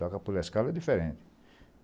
Tocar pela escala e é diferente.